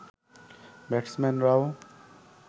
ব্যাটসম্যানরাও